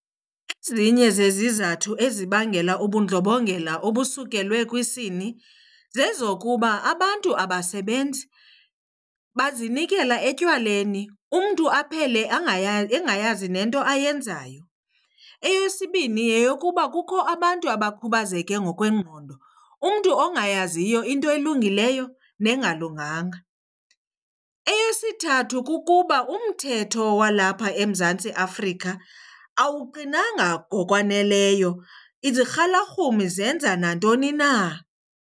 Ezinye zezizathu ezibangela ubundlobongela obusukelwe kwisini zezokuba abantu abasebenzi, bazinikela etywaleni umntu aphele engayazi nento ayenzayo. Eyesibini yeyokuba kukho abantu abakhubazeke ngokwengqondo, umntu ongayaziyo into elungileyo nengalunganga. Eyesithathu kukuba umthetho walapha eMzantsi Afrika awuqinanga ngokwaneleyo, izirhalarhumi zenza nantoni na.